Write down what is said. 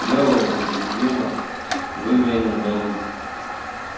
мэллоу угрюмо выглянул наружу